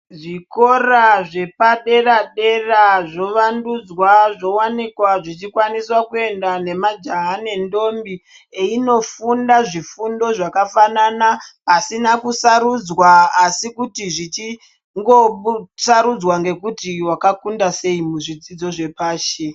Zvikora zvepaderadera zvovandundzwa zvowanikwa zvichikwanisa kuendwa nemajaha nendombi einofunda zvifundo zvakafanana pasina kusarudzwa asi kuti zvichingosarudzwa ngekuti wakakunda sei muzvidzidzo zvepashi.